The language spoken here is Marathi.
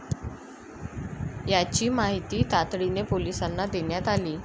याची माहिती तातडीनं पोलिसांना देण्यात आली.